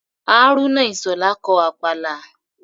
Hárúnà Ìṣhọ̀lá kọ Àpàlà